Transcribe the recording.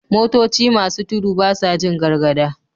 Motoci masu tudu basa Jin gargada